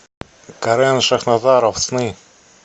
карен шахназаров сны